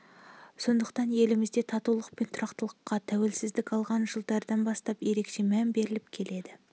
сондықтан елімізде татулық пен тұрақтылыққа тәуелсіздік алған жылдан бастап ерекше мән беріліп келеді